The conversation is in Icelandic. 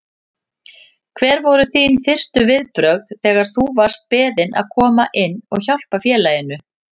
Hver voru þín fyrstu viðbrögð þegar þú varst beðinn að koma inn og hjálpa félaginu?